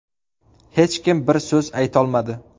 Hech kim bir so‘z aytolmadi.